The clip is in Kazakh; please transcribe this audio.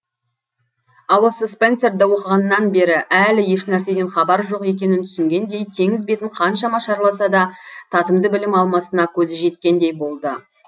ал осы спенсерді оқығаннан бері әлі ешнәрседен хабары жоқ екенін түсінгендей теңіз бетін қаншама шарласа да татымды білім алмасына көзі жеткендей болды